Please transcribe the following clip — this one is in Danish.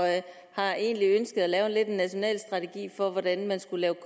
egentlig ønsket at lave en national strategi for hvordan man skulle